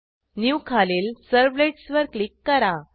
new खालील servlets वर click करा